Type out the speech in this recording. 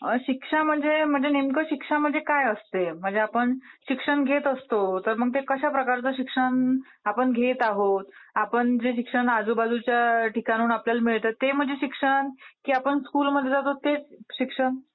शिक्षा मध्ये शिक्षा म्हणजे नेमकं काय असते? म्हणजे आपण शिक्षण घेत असतो, तर मग आपण ते कश्या प्रकारचं शिक्षण घेत आहोत, आपण जे शिक्षण आपल्याला आजूबाजूच्या ठिकाणावरून मिळतं ते म्हणजे शिक्षण की आपण स्कुल मध्ये जातो ते शिक्षण?